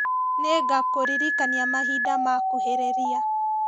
Nĩngakũririkania mahinda makuhĩrĩria